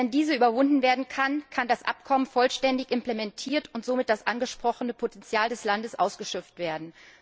Erst wenn diese überwunden werden kann, kann das Abkommen vollständig implementiert und somit das angesprochene Potenzial des Landes ausgeschöpft werden.